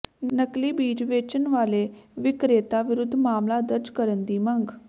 ਨਕਲੀ ਬੀਜ ਵੇਚਣ ਵਾਲੇ ਵਿਕਰੇਤਾ ਵਿਰੁੱਧ ਮਾਮਲਾ ਦਰਜ ਕਰਨ ਦੀ ਮੰਗ